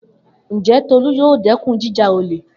Njẹ Tolu yoo dẹkun jija ole?